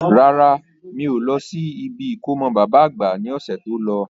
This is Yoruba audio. Rárá, mi ò lọ sí ibi ìkómọ baba àgbà ní ọ̀sẹ̀ tó lọ.